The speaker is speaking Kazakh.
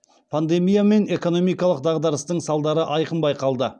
пандемия мен экономикалық дағдарыстың салдары айқын байқалды